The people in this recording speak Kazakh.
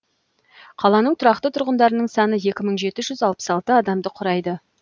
қаланың тұрақты тұрғындарының саны екі мың жеті жүз алпыс алты адамды құрайды